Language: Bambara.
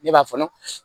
Ne b'a fɔɔnɔ